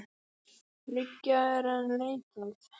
Þriggja er enn leitað.